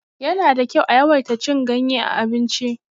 Yana da kyau a yawaita cin ganye a abinci.